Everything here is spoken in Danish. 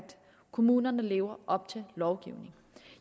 kommunerne lever op til lovgivningen